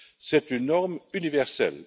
C'est une norme universelle.